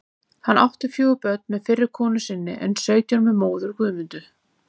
Hann átti fjögur börn með fyrri konu sinni en sautján með móður Guðmundu.